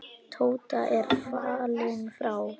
Tóta er fallin frá.